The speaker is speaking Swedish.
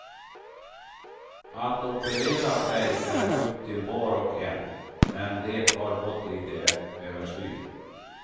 Att operera sig är upp till var och en, men det har gått lite överstyr.